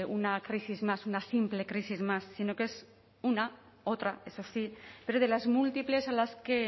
una crisis más una simple crisis más sino que es una otra eso sí pero de las múltiples a las que